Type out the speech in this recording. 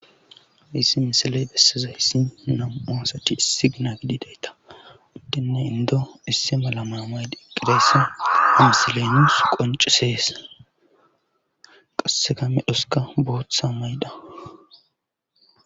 Issi misiley bessiza hissi nam7oosati issi gina gidideyta woddinne indo isse mala maamayde iqqireesi hamsilenus qoncisees qasse kame dhoska booththa maydha.